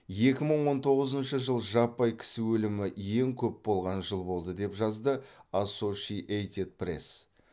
екі мың он тоғызынщы жыл жаппай кісі өлімі ең көп болған жыл болды деп жазды ассошиэйтед пресс